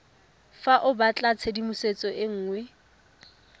fa o batlatshedimosetso e nngwe